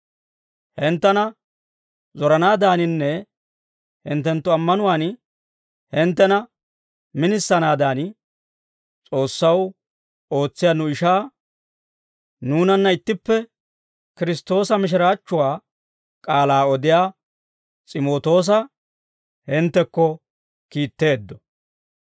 Hinttena zoranaadaaninne hinttenttu ammanuwaan hinttena minisanaadan, S'oossaw ootsiyaa nu ishaa, nuunanna ittippe Kiristtoosa mishiraachchuwaa k'aalaa odiyaa S'imootoosa hinttekko kiitteeddo.